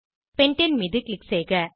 பெண்டேன் மீது க்ளிக் செய்க